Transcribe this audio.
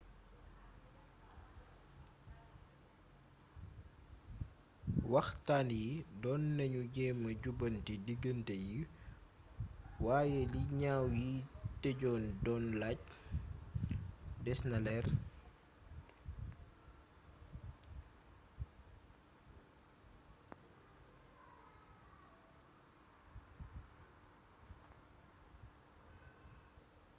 waxtaan yi doon nañu jéema jubbanti diggante yi waaye li ñaaw yiy tëjoon doon laaj desena leer